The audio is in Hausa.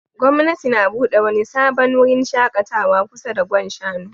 Gwamnati na bude wani sabon wurin shakatawa kusa da Gwan Shanu